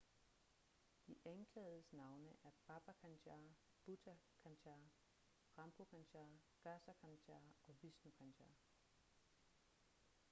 de anklagedes navne er baba kanjar bhutha kanjar rampro kanjar gaza kanjar og vishnu kanjar